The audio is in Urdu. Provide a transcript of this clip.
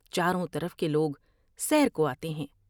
چاروں طرف کے لوگ سیر کو آتے ہیں ۔